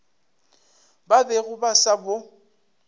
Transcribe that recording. ba bego ba sa bo